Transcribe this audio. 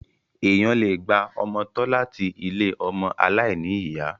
Èèyàn le gba ọmọ tọ́ láti ilé ọmọ aláìní ìyá.